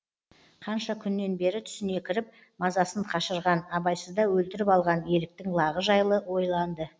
қанша күннен бері түсіне кіріп мазасын қашырған абайсызда өлтіріп алған еліктің лағы жайлы ойланды